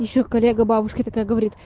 ещё колега бабушки такая говорит